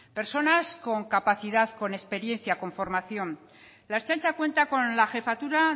personas con capacidad con experiencia con formación la ertzaintza cuenta con la jefatura